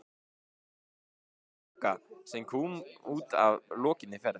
En það var skrítin Bogga sem kom út að lokinni ferð.